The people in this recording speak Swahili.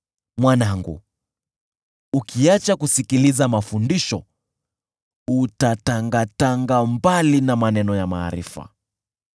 Mwanangu, ukiacha kusikiliza mafundisho, utatangatanga mbali na maneno ya maarifa.